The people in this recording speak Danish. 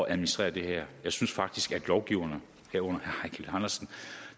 at administrere det her jeg synes faktisk at lovgiverne herunder eigil andersen